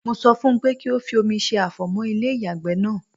Mo sọ fún pé kí o fi òmi se àfọ̀mọ́ ilé ìyàgbẹ́ náà.